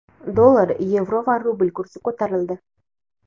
Dollar, yevro va rubl kursi ko‘tarildi.